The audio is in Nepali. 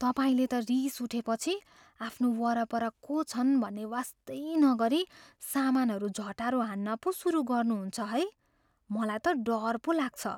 तपाईँले त रिस उठेपछि आफ्नो वरपर को छन् भन्ने वास्तै नगरी सामानहरू झटारो हान्न पो सुरु गर्नु हुन्छ है। मलाई त डर पो लाग्छ।